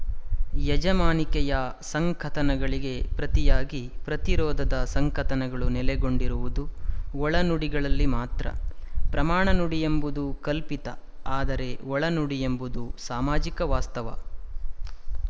ಯಜಮಾನಿಕೆಯ ಸಂಕಥನಗಳಿಗೆ ಪ್ರತಿಯಾಗಿ ಪ್ರತಿರೋಧದ ಸಂಕಥನಗಳು ನೆಲೆಗೊಂಡಿರುವುದು ಒಳನುಡಿಗಳಲ್ಲಿ ಮಾತ್ರ ಪ್ರಮಾಣ ನುಡಿಯೆಂಬುದು ಕಲ್ಪಿತ ಆದರೆ ಒಳನುಡಿಯೆಂಬುದು ಸಾಮಾಜಿಕ ವಾಸ್ತವ